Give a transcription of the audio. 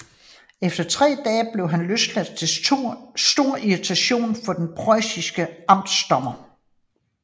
Efter tre dage blev han løsladt til stor irritation for den preussiske amtsdommer